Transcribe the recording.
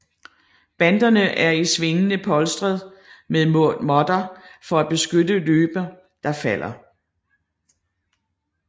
Banderne er i svingene polstret med måtter for at beskytte løbere der falder